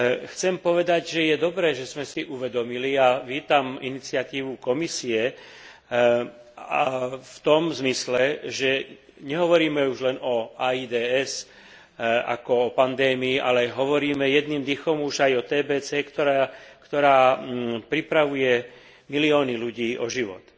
Chcem povedať, že je dobre, že sme si uvedomili, a vítam iniciatívu Komisie v tom zmysle, že nehovoríme už len o AIDS ako o pandémii, ale hovoríme jedným dychom už aj o TBC, ktorá pripravuje milióny ľudí o život.